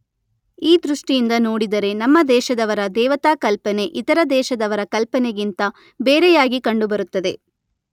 ಈ ದೃಷ್ಟಿಯಿಂದ ನೋಡಿದರೆ ನಮ್ಮ ದೇಶದವರ ದೇವತಾ ಕಲ್ಪನೆ ಇತರ ದೇಶದವರ ಕಲ್ಪನೆಗಿಂತ ಬೇರೆಯಾಗಿ ಕಂಡುಬರುತ್ತದೆ.